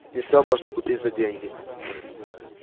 не всё можно купить за деньги